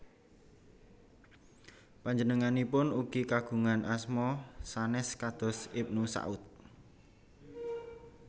Panjenenganipun ugi kagungan asma sanes kados Ibnu Saud